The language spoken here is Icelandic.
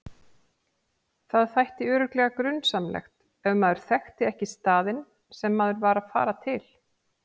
Það þætti örugglega grunsamlegt ef maður þekkti ekki staðinn sem maður var að fara til.